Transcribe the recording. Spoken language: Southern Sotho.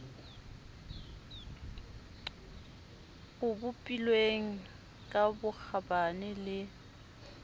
o bopilweng ka bokgabane le